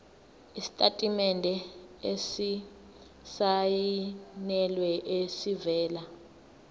isitatimende esisayinelwe esivela